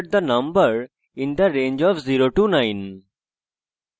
you have entered the number in the range of 09 হিসাবে দেখি